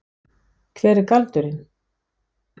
Hver er galdurinn?